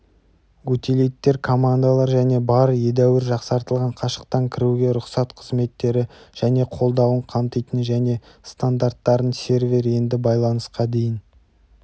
утилиттер командалар және бар едәуір жақсартылған қашықтан кіруге рұқсат қызметтері және қолдауын қамтитын және стандарттарын сервер енді байланысқа дейін